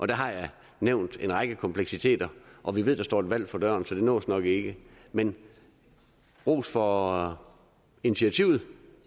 der har jeg nævnt en række kompleksiteter og vi ved at der står et valg for døren så det nås nok ikke men ros for initiativet